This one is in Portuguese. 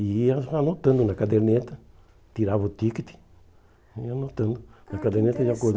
E ia anotando na caderneta, tirava o ticket e ia anotando na caderneta de acordo. Ah que